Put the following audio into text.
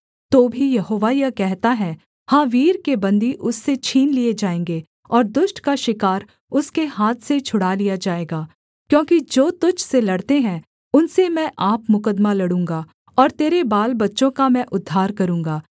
तो भी यहोवा यह कहता है हाँ वीर के बन्दी उससे छीन लिए जाएँगे और दुष्ट का शिकार उसके हाथ से छुड़ा लिया जाएगा क्योंकि जो तुझ से लड़ते हैं उनसे मैं आप मुकद्दमा लड़ूँगा और तेरे बालबच्चों का मैं उद्धार करूँगा